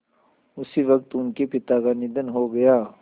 उसी वक़्त उनके पिता का निधन हो गया